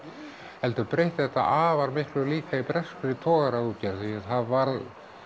heldur breytti þetta afar miklu líka í breskri togaraútgerð því það varð